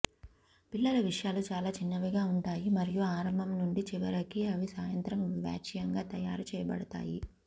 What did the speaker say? పిల్లల విషయాలు చాలా చిన్నవిగా ఉంటాయి మరియు ఆరంభం నుండి చివరికి అవి సాయంత్రం వాచ్యంగా తయారు చేయబడతాయి